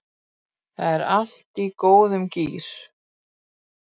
Það er allt í góðum gír